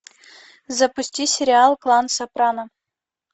запусти сериал клан сопрано